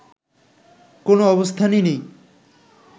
কোনও অবস্থানই নেই